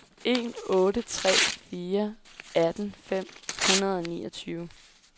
en otte tre fire atten fem hundrede og niogtyve